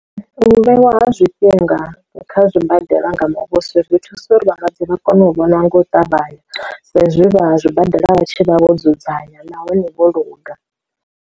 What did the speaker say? U vhewa zwifhinga kha zwibadela nga muvhuso zwi thusa uri vhalwadze vha kone u vhona nga u ṱavhanya, sa izwi vha zwibadela vha tshi vha vho dzudzanya nahone vho luga.